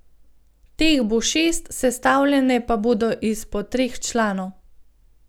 Teh bo šest, sestavljene pa bodo iz po treh članov.